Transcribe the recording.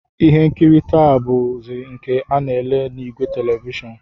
Ihe nkiri taa bụzi nke a na-ele n'ìgwè televishọn